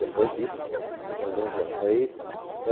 Depois disso, tem alguns anos.n Aí